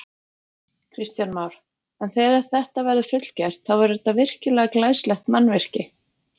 Kristján Már: En þegar þetta verður fullgert, þá verður þetta virkilega glæsilegt mannvirki?